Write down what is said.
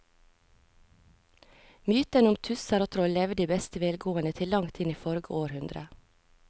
Mytene om tusser og troll levde i beste velgående til langt inn i forrige århundre.